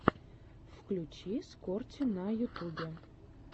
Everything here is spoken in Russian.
включи скорти на ютубе